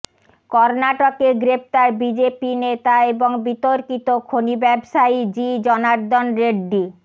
কর্ণাটকে গ্রেফতার বিজেপি নেতা এবং বিতর্কিত খনি ব্যবসায়ী জি জনার্দন রেড্ডি